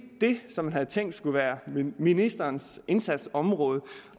det som man havde tænkt skulle være ministerens indsatsområde